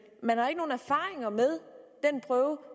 man har ikke nogen erfaringer med den prøve